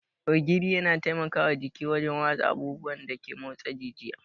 Ogiri yana taimaka wa jiki wajen watsa abubuwan da ke motsa jijiya.